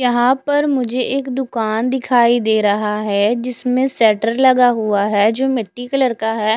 यहाँ पर मुझे एक दुकान दिखाई दे रहा है जिसमे शटर लगा हुआ है जो मिटटी कलर का है।